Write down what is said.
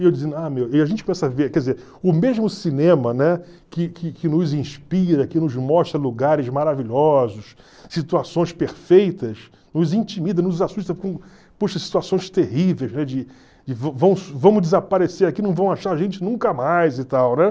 E a gente começa a ver, quer dizer, o mesmo cinema, né, que que que nos inspira, que nos mostra lugares maravilhosos, situações perfeitas, nos intimida, nos assusta com, poxa, situações terríveis, né, de de va vamos vamos desaparecer aqui, não vão achar a gente nunca mais e tal, né?